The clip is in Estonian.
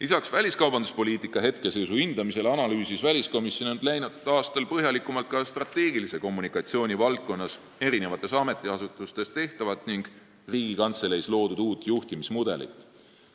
Lisaks väliskaubanduspoliitika seisu hindamisele analüüsis väliskomisjon läinud aastal põhjalikumalt eri ametiasutustes strateegilise kommunikatsiooni valdkonnas tehtavat ning Riigikantseleis loodud uut juhtimismudelit.